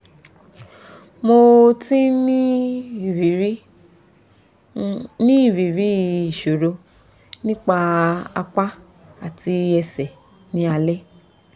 mo ti ń ní ìrírí ń ní ìrírí ìṣòro ní apá àti ẹsẹ̀ ní alẹ́